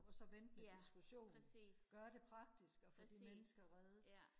ja præcis præcis ja